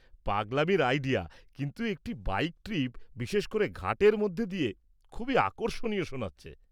পাগলামির idea, কিন্তু একটি bike trip, বিশেষ করে ঘাটের মধ্যে দিয়ে, খুবই আকর্ষণীয় শোনাচ্ছে।